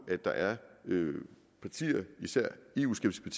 at der er partier især eu skeptiske